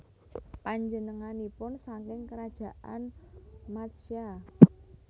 Panjenenganipun saking Krajaan Matsya